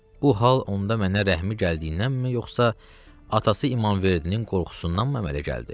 Bu hal onda mənə rəhmi gəldiyindənmi yoxsa atası İmanverdinin qorxusundanmı əmələ gəldi?